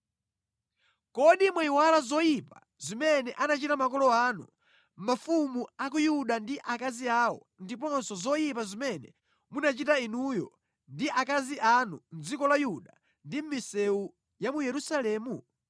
Kodi mwayiwala zoyipa zimene anachita makolo anu, mafumu a ku Yuda ndi akazi awo, ndiponso zoyipa zimene munachita inuyo ndi akazi anu mʼdziko la Yuda ndi mʼmisewu ya mu Yerusalemu?